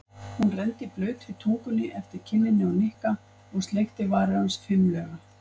Hún renndi blautri tungunni eftir kinninni á Nikka og sleikti varir hans fimlega.